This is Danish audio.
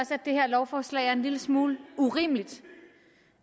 det her lovforslag er en lille smule urimeligt